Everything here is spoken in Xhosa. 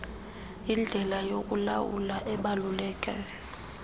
yindlela yokulawula ebaluleke